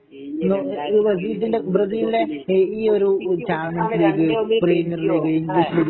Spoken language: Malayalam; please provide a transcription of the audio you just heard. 2018 വേൾഡ് കപ്പില് ബെൽജിയം